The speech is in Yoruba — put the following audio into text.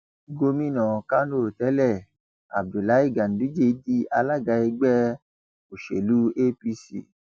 gomina kánò tẹlé abdullahi ganduje di alaga ẹgbẹ òsèlú apc